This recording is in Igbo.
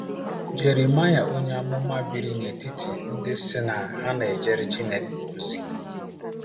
Jeremaịa onye amụma biri n'etiti ndị sị na ha na-ejere Chineke ozi.